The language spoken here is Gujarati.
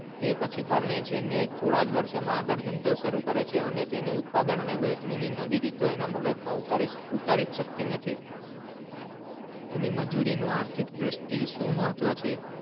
તે પછી પરણે છે અને થોડા જ વર્ષો માં આગળ ધંધો સરું કરે છે અને તેની ઉત્પાદન અને વહેંચણી નવી રીતો એની મગજ માં ઉતારી શક્તિ નથી એની મજૂરી નું આર્થિક દર્ષ્ટિ એ સુ મહત્વ છે.